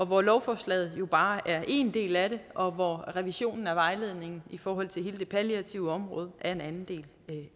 hvor lovforslaget jo bare er én del af det og hvor revisionen af vejledningen i forhold til hele det palliative område er en anden del